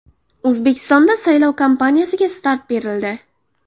O‘zbekistonda saylov kampaniyasiga start berildi.